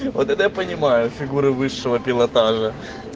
вот это я понимаю фигуры высшего пилотажа